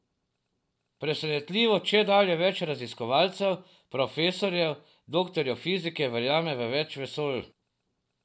Presenetljivo čedalje več raziskovalcev, profesorjev, doktorjev fizike verjame v več vesolj.